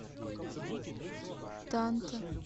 танта